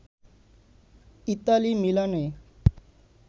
Italy মিলানে